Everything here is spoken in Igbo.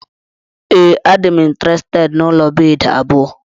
Ee, adịm intirested n'ụlọ bedi abụọ.